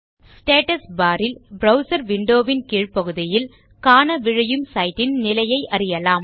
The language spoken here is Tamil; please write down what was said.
ஸ்டேட்டஸ் பார் ல் ப்ரவ்சர் விண்டோ வின் கீழ்பகுதியில் காண விழையும் சைட் ன் நிலையை அறியலாம்